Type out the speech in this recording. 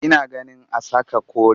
Ina ganin a saka kore